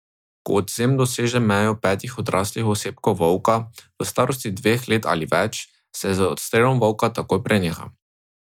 Ko odvzem doseže mejo petih odraslih osebkov volka, v starosti dveh let in več, se z odstrelom volka takoj preneha.